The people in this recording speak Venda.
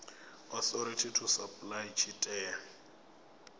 authority to apply tshi tea